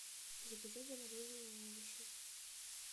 заказать замороженные овощи